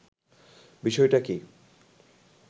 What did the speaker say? বিষয়টা কি